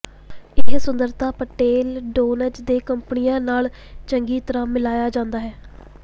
ਇਹ ਸੁੰਦਰਤਾ petal tones ਦੇ ਕੱਪੜਿਆਂ ਨਾਲ ਚੰਗੀ ਤਰ੍ਹਾਂ ਮਿਲਾਇਆ ਜਾਂਦਾ ਹੈ